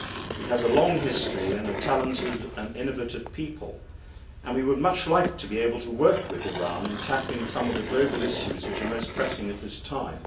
It has a long history and a talented and innovative people and we would much like to be able to work with Iran in tackling some of the global issues which are most pressing at this time.